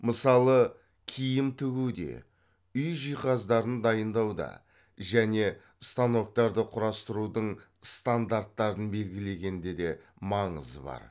мысалы киім тігуде үй жиһаздарын дайындауда және станоктарды құрастырудың стандарттарын белгілегенде де маңызы бар